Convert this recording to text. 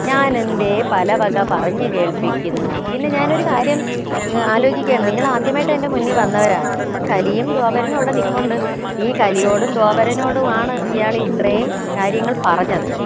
ഞാനെന്തേ പലവക പറഞ്ഞു കേൾപ്പിക്കുന്നു പിന്നെ ഞാനൊരു കാര്യം ഏർ ആലോചിക്കയാണ് നിങ്ങൾ ആദ്യമായിട്ട് എന്റെ മുന്നിൽ വന്നവരാണ് അപ്പോ കലിയും ധ്വാപരനും അവിടെ നിപ്പുണ്ട് ഈ കലിയോടും ധ്വാപരനോടും ആണ് ഇയാളിത്രയും കാര്യങ്ങൾ പറഞ്ഞത്